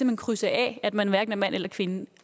hen krydse af at man hverken er mand eller kvinde